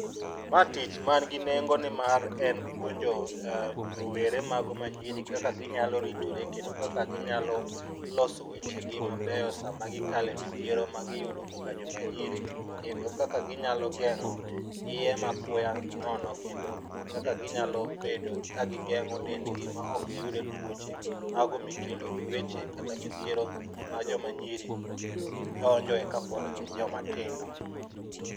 Ma tich man gi nengo nimar en puonjo rowere mago ma nyiri kaka ginyalo ritore, kendo kaka ginyalo loso weche gi mabeyo sama gikale midhiero ma giyudo kaka joma nyiri. Kendo kaka ginyalo geng'o iye ma apoya nono kendo kaka ginyalo bedo ka gigeng'o dend gi ma ok giyudo tuoche. Mago mikelo gi weche kata midhiero ma joma nyiri donje kapod gin joma tindo.